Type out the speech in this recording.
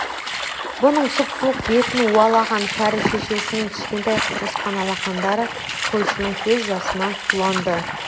бұның сұп-суық бетін уалаған кәрі шешесінің кішкентай құрысқан алақандары қойшының көз жасынан суланды